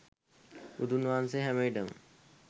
බුදුන් වහන්සේ හැමවිට